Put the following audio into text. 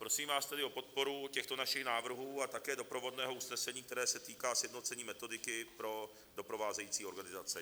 Prosím vás tedy o podporu těchto našich návrhů a také doprovodného usnesení, které se týká sjednocení metodiky pro doprovázející organizace.